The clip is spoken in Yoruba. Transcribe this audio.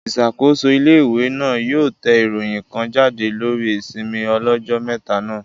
Ìṣàkóso ilé-ìwé náà yóò yóò tẹ ìròyìn kan jáde lórí ìsinmi ọlọ́jọ́ mẹ́ta náà